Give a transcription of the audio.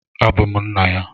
Abum nna ya.